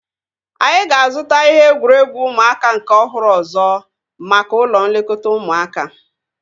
Anyị ga-azuta ihe egwuregwu ụmụaka nke ọhụrụ ọzọ maka ụlọ nlekọta ụmụaka